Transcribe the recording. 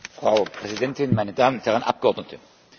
Frau Präsidentin, meine Damen und Herren Abgeordneten!